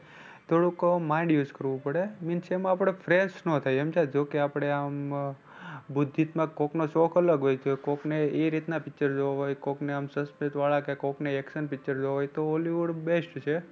થોડુંક કવ mind use કરવું પડે. means એમાં આપણે fresh ના થઈએ સમજ્યા જો કે આપણે આમ બૌદ્ધિકતા કોઈક નો શોખ અલગ હોય, કોક ને એ રીતના picture જોવા હોય, કોક ને આમ વાળા કે કોક ને action picture જોવા હોય તો hollywood best છે.